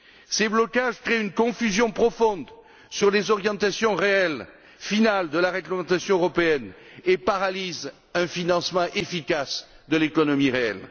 Ces blocages créent une confusion profonde sur les orientations réelles finales de la réglementation européenne et paralysent un financement efficace de l'économie réelle.